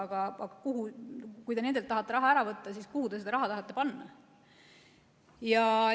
Aga kui te nendelt tahate raha ära võtta, siis kuhu te selle raha tahate panna?